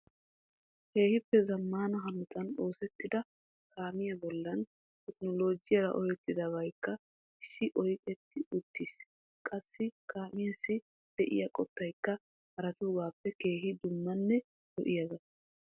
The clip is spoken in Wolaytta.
Keehippe zammana hanota oosettida kaamiyaa bollaa Teknoolojjiyaara oohettidabaykka issi ojetti uttiis qassi kaamessi de'iyaa qottaykka haratuugappe keehin dummanne lo"iyaaga .